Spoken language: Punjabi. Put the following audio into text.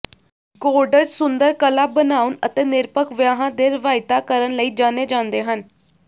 ਗੌਂਡਜ਼ ਸੁੰਦਰ ਕਲਾ ਬਣਾਉਣ ਅਤੇ ਨਿਰਪੱਖ ਵਿਆਹਾਂ ਦੇ ਰਵਾਇਤਾਂ ਕਰਨ ਲਈ ਜਾਣੇ ਜਾਂਦੇ ਹਨ